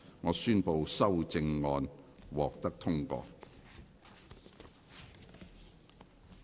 我宣布修正案獲得通過。